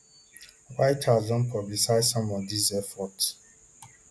white house don publicise some of these efforts